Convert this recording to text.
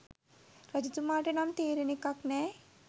රජතුමාට නම් තේරෙන එකක් නෑ